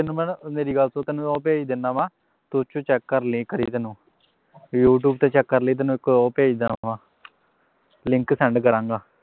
ਤੈਨੂੰ ਮੈਂ ਨਾ ਮੇਰੀ ਗੱਲ ਸੁਣ ਤੈਨੂੰ ਉਹ ਭੇਜ ਦਿਨਾ ਵਾਂ ਤੂੰ ਉਹਦੇ ਵਿੱਚੋਂ check ਕਰ ਲਵੀਂ ਕਰੀ ਤੈਨੂੰ youtube ਤੇ check ਕਰ ਲਵੀਂ ਤੈਨੂੰ ਇਕ ਉਹ ਭੇਜਦਾ ਵਾਂ link send ਕਰਾਂਗਾ